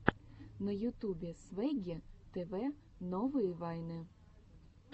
на ютубе свегги тв новые вайны